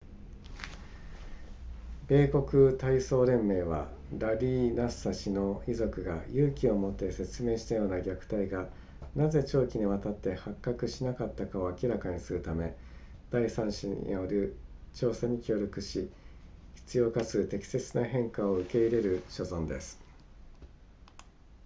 米国体操連盟はラリーナッサー氏の遺族が勇気を持って説明したような虐待がなぜ長期に渡って発覚しなかったかを明らかにするための第三者による調査に協力し必要かつ適切な変化を受け入れる所存です